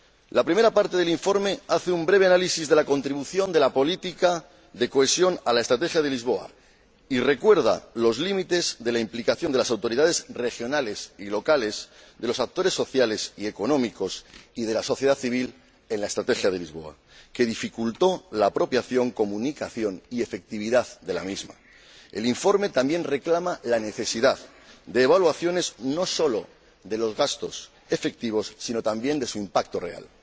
La primera parte del informe hace un breve análisis de la contribución de la política de cohesión a la Estrategia de Lisboa y recuerda los límites de la implicación de las autoridades regionales y locales, de los actores sociales y económicos y de la sociedad civil en la Estrategia de Lisboa, lo que dificultó la apropiación, comunicación y efectividad de la misma. El informe también reclama la necesidad de evaluaciones, no solo de los gastos efectivos, sino también de su impacto real.